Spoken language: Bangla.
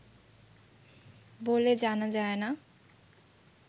বলে জানা যায় না